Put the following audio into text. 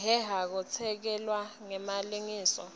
lehehako tesekelwe ngemalengiso